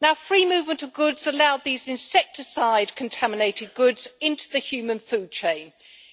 The free movement of goods allowed these insecticide contaminated goods into the human food chain